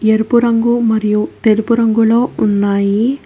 ఎరుపు రంగు మరియు తెలుపు రంగులో ఉన్నాయి.